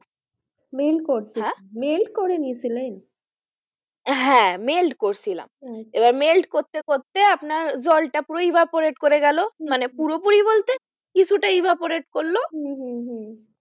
Meld করছিলাম হ্যাঁ meld করে নিয়েছিলাম হ্যাঁ meld করছিলাম আচ্ছা এবার meld করতে করতে আপনার জলটা পুরোই মানে পুরোপুরি বলতে কিছুটা করল হম হম হম